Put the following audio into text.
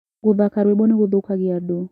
Gũthaka rwĩmbo nĩgũthũkagia andũ.